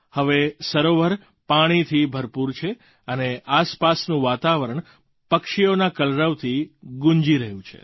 હવે સરોવર પાણીથી ભરપૂર છે અને આસપાસનું વાતાવરણ પક્ષીઓના કલરવથી ગૂંજી રહ્યું છે